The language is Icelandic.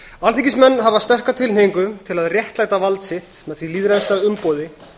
alþingismenn hafa sterka tilhneigingu til að réttlæta vald sitt með því lýðræðislega umboði